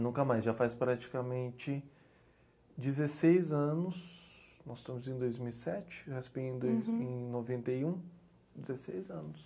Nunca mais, já faz praticamente dezesseis anos, nós estamos em dois mil e sete, eu raspei em dois, em noventa e um noventa e um, dezesseis anos.